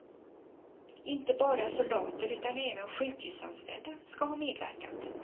Inte bara soldater utan även sjukhusanställda skall ha medverkat.